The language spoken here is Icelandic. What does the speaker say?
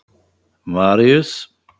Maríus